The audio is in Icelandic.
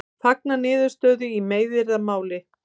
Fagna niðurstöðu í meiðyrðamáli